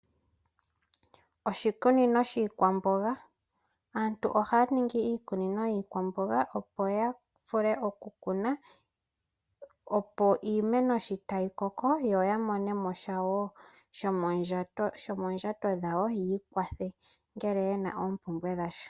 Oshikunino shiikwamboga aantu oha ya ningi iikunino yiikwamboga opo ya vule okuyi kuna yo iimeno sho tayi mene otaa monomosha wo ngele yena oompumbwe dhawo.